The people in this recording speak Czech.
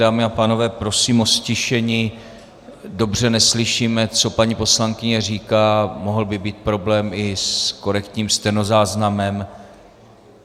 Dámy a pánové, prosím o ztišení, dobře neslyšíme, co paní poslankyně říká, mohl by být problém i s korektním stenozáznamem.